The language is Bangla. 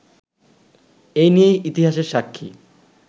এ নিয়েই ইতিহাসের সাক্ষী